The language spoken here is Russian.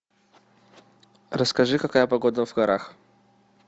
расскажи какая погода в горах